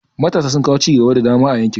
Matasa sun kawo cigaba da dama a yankin.